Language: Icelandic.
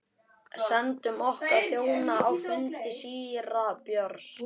Sendum okkar þjóna á fund síra Björns.